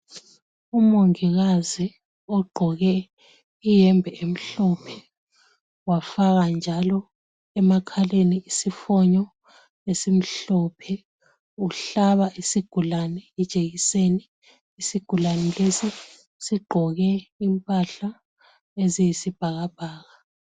Umongikazi ogqoke iyembe emhlophe wafaka njalo emakhaleni isifonyo esimhlophe ,uhlaba isigulane ijekiseni ,isigulane lesi sigqoke impahla eziyisibhakabhaka.